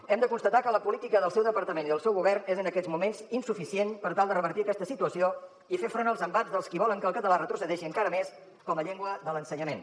hem de constatar que la política del seu departament i del seu govern és en aquests moments insuficient per tal de revertir aquesta situació i fer front als embats dels qui volen que el català retrocedeixi encara més com a llengua de l’ensenyament